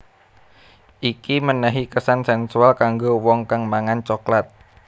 Iki menehi kesan sensual kanggo wong kang mangan coklat